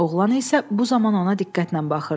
Oğlan isə bu zaman ona diqqətlə baxırdı.